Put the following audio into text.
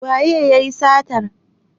Waye yayi satar?